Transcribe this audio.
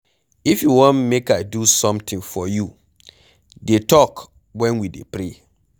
If you wan make I do something for you dey talk wen we dey pray.